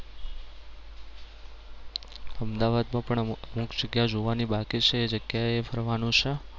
અમદાવાદમાં પણ અમુક જગ્યા જોવાની બાકી છે એ જગ્યાએ ફરવાનું છે.